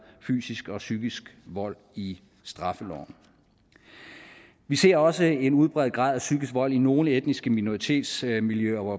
fysisk og psykisk vold i straffeloven vi ser også en udbredt grad af psykisk vold i nogle etniske minoritetsmiljøer hvor